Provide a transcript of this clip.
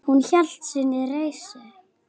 Hún hélt sinni reisn.